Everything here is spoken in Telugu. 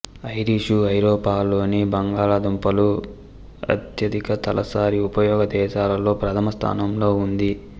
ఐరిషు ఐరోపాలోని బంగాళాదుంపల అత్యధిక తలసరి ఉపయోగ దేశాలలో ప్రధమ స్థానంలో ఉంది